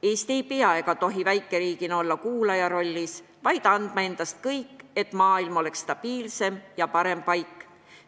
Eesti väikeriigina ei pea olema ega tohi olla kuulaja rollis, vaid ta peab andma endast kõik, et maailm oleks stabiilsem ja parem paik.